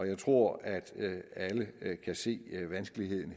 jeg tror at alle kan se vanskeligheden